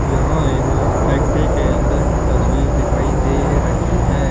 यहां एक फैक्ट्री के अंदर की तस्वीर दिखाई दे रही है।